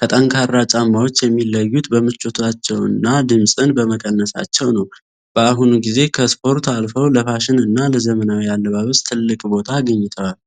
ከጠንካራ ጫማዎች የሚለዩት በምቾታቸውና ድምጽን በመቀነሳቸው ነው። በአሁኑ ጊዜ ከስፖርት አልፈው ለፋሽን እና ለዘመናዊ አለባበስ ትልቅ ቦታ አግኝተዋል።